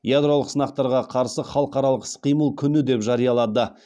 ядролық сынақтарға қарсы халықаралық іс қимыл күні деп жариялады